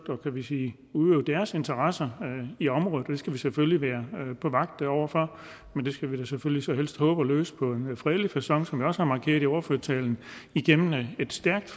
kan vi sige at udøve deres interesser i området og det skal vi selvfølgelig være på vagt over for men det skal vi da selvfølgelig helst håbe at løse på en fredelig facon som jeg også har markeret i ordførertalen igennem et